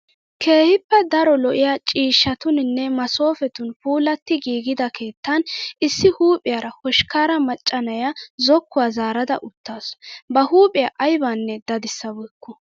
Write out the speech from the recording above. Keehippe daro lo'iyaa ciishshatuuninne masoopetun puulatti giigida keettan issi huuphiyaara hoshkkaara macca na''iyaa zokkuwaa zaarada uttaasu. Ba huuphphiyaa ayibanne dadissabeekku.